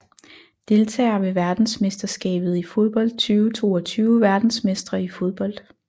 Deltagere ved verdensmesterskabet i fodbold 2022 Verdensmestre i fodbold